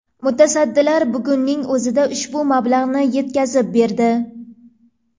Mutasaddilar bugunning o‘zida ushbu mablag‘ni yetkazib berdi.